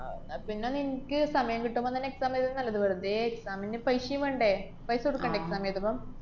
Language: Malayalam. ആഹ് അന്നാപ്പിന്നെ നിന്‍ക്ക് സമയം കിട്ടുമ്പൊ തന്നെ exam എഴ്തുതന്നതാ നല്ലത്. വെറുതെ exam ന്റെ paisa ഏം വേണ്ടെ? paisa കൊടുക്കണ്ടെ exam എഴുതുമ്പം?